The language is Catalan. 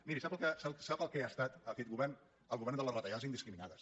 miri sap el que ha estat aquest govern el govern de les retallades indiscriminades